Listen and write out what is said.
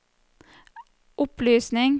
opplysning